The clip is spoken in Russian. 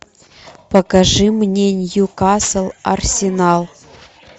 покажи мне ньюкасл арсенал